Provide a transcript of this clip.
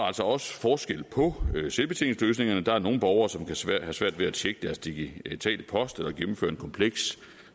altså også forskel på selvbetjeningsløsningerne der er nogle borgere som kan have svært ved at tjekke deres digitale post eller gennemføre en kompleks